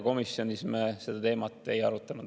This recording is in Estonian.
Komisjonis me seda teemat ei arutanud.